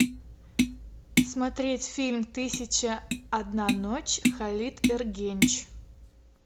смотреть фильм тысяча и одна ночь халит эргенч